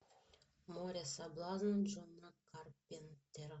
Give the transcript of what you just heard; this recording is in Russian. море соблазна джона карпентера